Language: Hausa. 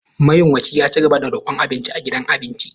Mayunwacin ya ci gaba da rokon abinci a gidan abincin.